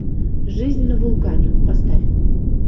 жизнь на вулкане поставь